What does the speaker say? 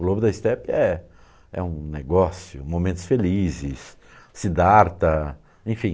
O Lobo da Estepe é é um negócio, momentos felizes, Sidarta, enfim.